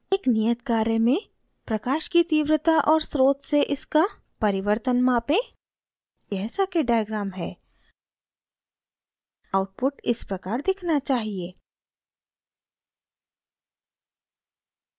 एक नियत कार्य में प्रकाश की तीव्रता और स्रोत से इसका परिवर्तन मापें यह सर्किट डायग्राम है आउटपुट इस प्रकार दिखना चाहिए